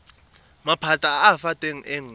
maphata a a fetang nngwe